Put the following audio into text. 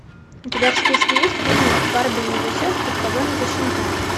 у тебя в списке есть фильмик барби и ее сестры в погоне за щенками